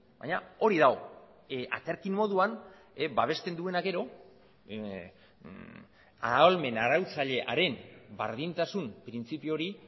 baina hori dago aterki moduan babesten duena gero ahalmen arautzailearen berdintasun printzipio hori